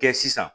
Kɛ sisan